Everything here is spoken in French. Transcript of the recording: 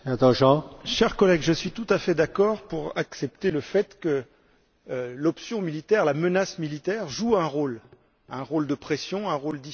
Cher collègue, je suis tout à fait d'accord pour accepter le fait que l'option militaire, la menace militaire joue un rôle, un rôle de pression, un rôle dissuasif.